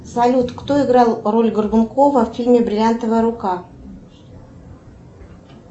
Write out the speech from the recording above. салют кто играл роль горбункова в фильме бриллиантовая рука